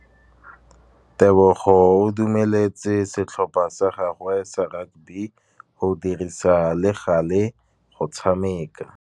Tebogô o dumeletse setlhopha sa gagwe sa rakabi go dirisa le galê go tshameka.